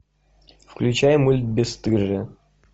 включай мульт бесстыжие